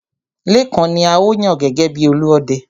Lékan ni a ó yàn gẹ́gẹ́ bi Olúọdẹ.